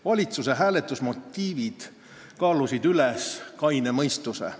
Valitsuse motiivid kaalusid üles kaine mõistuse.